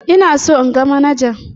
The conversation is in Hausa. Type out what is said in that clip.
Ina so in ga manajan.